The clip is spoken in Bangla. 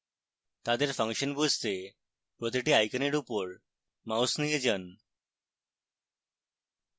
তাদের ফাংশন বুঝতে প্রতিটি আইকনের উপর mouse নিয়ে যান